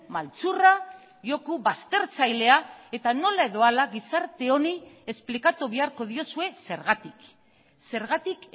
maltzurra joko baztertzailea eta nola edo hala gizarte honi esplikatu beharko diozue zergatik zergatik